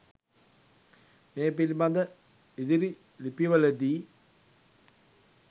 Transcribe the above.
මේ පිළිබඳ ඉදිරි ලිපිවල දී